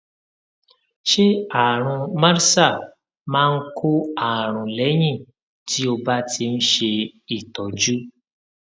ṣé àrùn mrsa máa ń kó àrùn lẹyìn tí o bá ti ń ṣe ìtọjú